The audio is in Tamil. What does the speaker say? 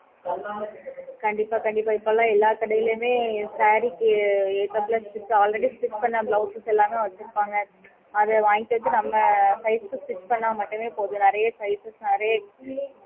கண்டிப்பா கண்டிப்பா இப்போல்லாம் எல்லாம் கடையிலுமே saree க்கு ஏத்தபோல already stretch பண்ண blouses எல்லாமே வச்சுஇருப்பாங்க அது வாங்கிக்குறது நம்ப size க்கு stretch